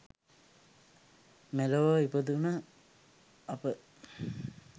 මෙලොව ඉපදුණු අප